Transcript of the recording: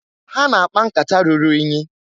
Ha na-akpa nkata ruru inyi.